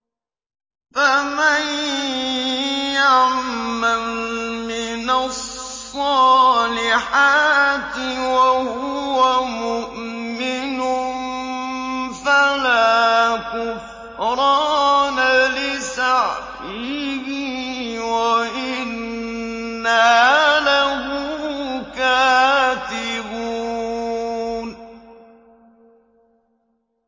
فَمَن يَعْمَلْ مِنَ الصَّالِحَاتِ وَهُوَ مُؤْمِنٌ فَلَا كُفْرَانَ لِسَعْيِهِ وَإِنَّا لَهُ كَاتِبُونَ